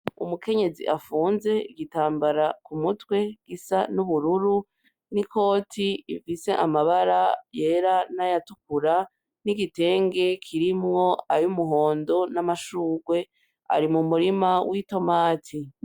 Umukenyezi afunze igitambara k'umutwe gisa n'ubururu n'ikoti ifise amabara yera n'ayatukura n'igitenge kirimwo ay'umuhondo n'amashugwe. Ari mu murima w'itomati.